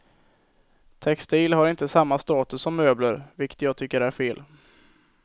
Textil har inte samma status som möbler, vilket jag tycker är fel.